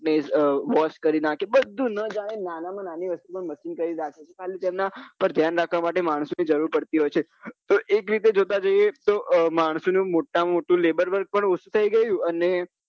એ wash કરી નાખે બધું ના જાણે નાના માં નાનું વસ્તુ machine કરી રાખે ખાલી તેના પર ધ્યાન રાખવા માટે માણસો ની જરૂર પડતી હોય છે તો એક રીતે જોતા જઈએ તો માણસો નું મોટા માં મોટું laberwork પણ ઓછુ થઇ ગયું અને